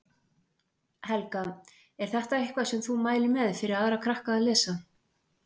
Helga: Er þetta eitthvað sem þú mælir með fyrir aðra krakka að lesa?